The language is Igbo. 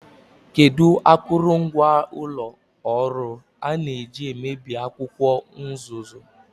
Kedu akụrụngwa ụlọ ọrụ a na-eji mebie akwụkwọ nzuzo?